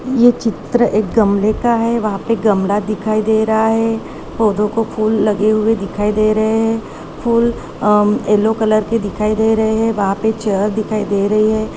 ये चित्र एक गमले का है वहाँ पे गमला दिखाई दे रहा है पौधों को फूल लगे हुए दिखाई दे रहे हैं फूल अ- येलो कलर के दिखाई दे रहे है वहां पर चेयर दिखाई दे रही हैं।